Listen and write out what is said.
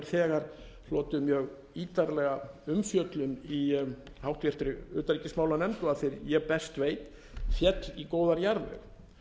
þegar hlotið mjög ítarlega umfjöllun í háttvirtri utanríkismálanefnd og að því er ég best veit féll í góðan jarðveg